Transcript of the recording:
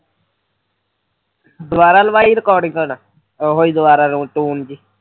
ਆਹੋ ਦੁਬਾਰਾ ਲਗਾਈ ਰਿਕਾਰਡਿੰਗ ਹੁਣ ਆਹਾ ਟੋਨ ਜਿਹੀ